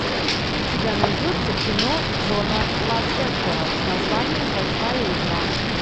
у тебя найдется кино джона лассетера с названием большая игра